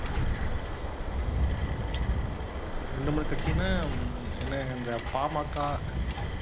ரெண்டு, மூணு கட்சின்னா என்ன இந்த பாமாகா